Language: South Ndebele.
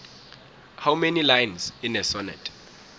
how many lines in a sonnet